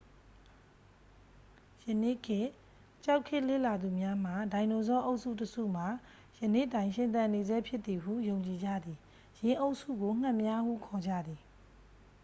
ယနေ့ခေတ်ကျောက်ခေတ်လေ့လာသူများမှ ဒိုင်နိုဆောအုပ်စုတစ်စုမှာ ယနေ့တိုင်ရှင်သန်နေဆဲဖြစ်သည်ဟု ယုံကြည်ကြသည် ယင်းအုပ်စုကို ငှက်များ ဟုခေါ်ကြသည်